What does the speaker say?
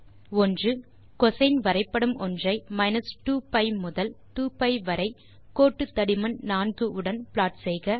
1கோசின் வரைபடம் ஒன்றை 2pi முதல் 2பி வரை கோட்டுத்தடிமன் 4 உடன் ப்ளாட் செய்க